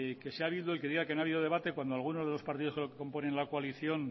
que si ha habido y que diga que no ha habido debate cuando alguno de los partidos que componen la coalición